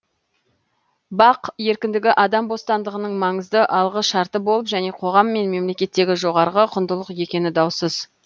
бақ еркіндігі адам бостандығының маңызды алғы шарты болып және қоғам мен мемлекеттегі жоғарғы құндылық екені даусыз